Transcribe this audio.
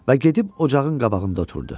Və gedib ocağın qabağında oturdu.